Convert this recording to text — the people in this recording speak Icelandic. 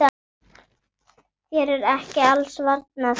Þér er ekki alls varnað.